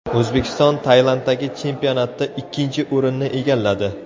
O‘zbekiston Tailanddagi chempionatda ikkinchi o‘rinni egalladi.